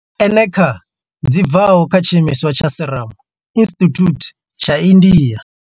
Eneca dzi bvaho kha tshiimiswa tsha Serum Institute tsha India.